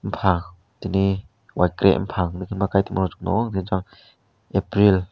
faan twdai wake bufang Kan tongo.